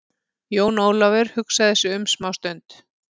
Jón Ólafur hugsaði sig um smá stund.